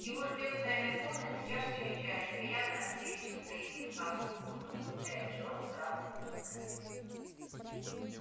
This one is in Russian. его ждёт в тайной комнате чашечка чая и приятная встреча со своим клыкастым слугой добавляя джордж радостно фыркая